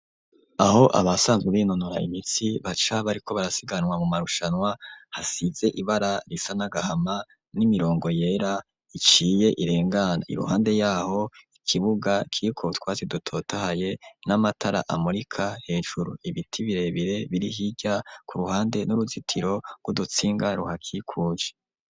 Aho abasanzwe binonora imitsi, baca, bariko barasiganwa, mu marushanwa; hasize ibara risa n'agahama, n'imirongo yera, iciye, irengana; iruhande y'aho, ikibuga, kiriko utwatsi dutotahaye, n'amatara amurika, hejuru; ibiti birebire, biri hirya, ku ruhande, n'uruzitiro rw'udutsinga, ruhakikuje.